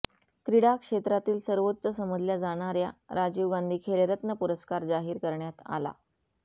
क्रीडा क्षेत्रातील सर्वोच्च समजल्या जाणाऱया राजीव गांधी खेलरत्न पुरस्कार जाहीर करण्यात आला